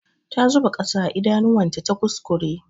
Ta zuba ƙasa a idanuwan ta ta kuskure.